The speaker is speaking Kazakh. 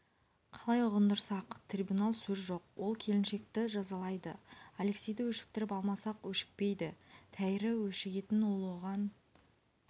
қалай ұғындырсақ трибунал сөз жоқ ол келіншекті жазалайды алексейді өшіктіріп алмасақ өшікпейді тәйірі өшігетін ол оған